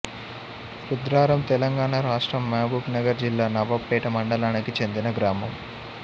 రుద్రారంతెలంగాణ రాష్ట్రం మహబూబ్ నగర్ జిల్లా నవాబ్ పేట మండలానికి చెందిన గ్రామం